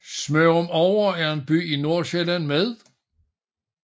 Smørumovre er en by i Nordsjælland med